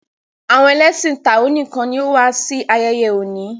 awon ẹlẹṣin tao nìkàn ní wón wá sí ayeye òní.